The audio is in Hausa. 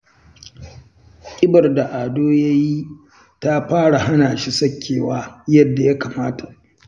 Ƙibar da Ado yayi ta fara hana shi sakewa yadda ya kamata.